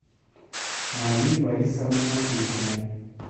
марии борисовне матюхиной